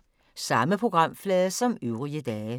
Samme programflade som øvrige dage